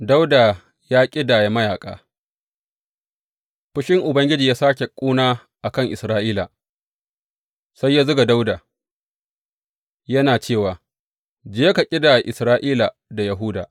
Dawuda ya ƙidaya mayaƙa Fushin Ubangiji ya sāke ƙuna a kan Isra’ila, sai ya zuga Dawuda, yana cewa, Je ka ƙidaya Isra’ila da Yahuda.